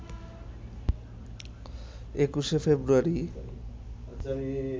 ২১ ফেব্রুয়ারি